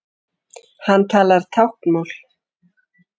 Hann talar táknmál.